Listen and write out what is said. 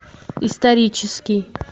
исторический